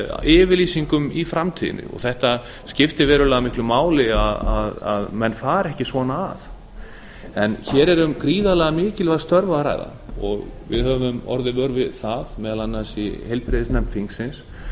yfirlýsingum í framtíðinni þetta skiptir verulega miklu máli að menn fara ekki svona að hér er um gríðarlega mikilvæg störf að ræða og við höfum orðið vör við það meðal annars í heilbrigðisnefnd þingsins